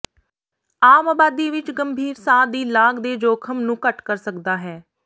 ਆਮ ਆਬਾਦੀ ਵਿਚ ਗੰਭੀਰ ਸਾਹ ਦੀ ਲਾਗ ਦੇ ਜੋਖਮ ਨੂੰ ਘੱਟ ਕਰ ਸਕਦਾ ਹੈ